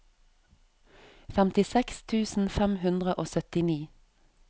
femtiseks tusen fem hundre og syttini